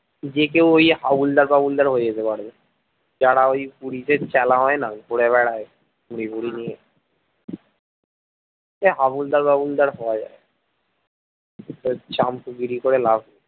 যে কেউ ওই হাবুলদার বাবুলদার হয়ে যেতে পারে, যারা ওই পুলিশের চেলা হয় না ঘুরে বেড়াই ভুঁড়ি টুরি নিয়ে, হাবুলদার বাবুলদার হওয়া যায় চামচে গিরি করে লাভ,